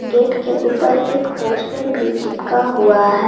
Gate के ऊपर एक पोस्टर भी चिपका हुआ है।